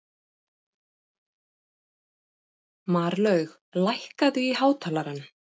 Marlaug, lækkaðu í hátalaranum.